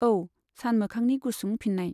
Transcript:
औ सानमोखांनि गुसुं फिन्नाय।